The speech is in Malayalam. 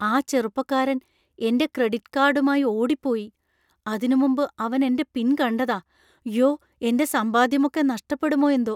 ആ ചെറുപ്പക്കാരൻ എന്‍റെ ക്രെഡിറ്റ് കാർഡുമായി ഓടിപ്പോയി. അതിനുമുമ്പ് അവൻ എന്‍റെ പിൻ കണ്ടതാ. യ്യോ, എന്‍റെ സമ്പാദ്യമൊക്കെ നഷ്ടപ്പെടുമോ എന്തോ.